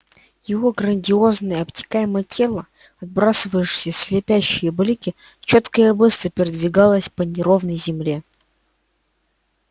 его грациозное обтекаемое тело отбрасывавшее слепящие блики чётко и быстро передвигалось по неровной земле